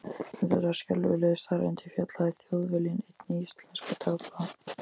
Um þessar skelfilegu staðreyndir fjallaði Þjóðviljinn einn íslenskra dagblaða.